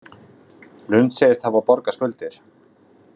Lund segist hafa borgað skuldir